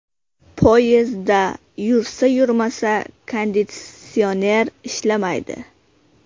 Poyezdda yursa-yurmasa konditsioner ishlamaydi.